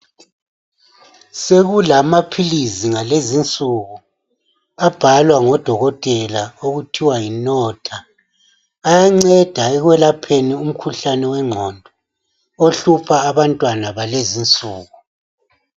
Sokulamaphilisi ngalezunsuku abhalwa ngodokotela okuthiwa yiNotta ayenceda ekwelapheni imkhuhlane yeqondo ohlupha abantwana ngalezinsuku.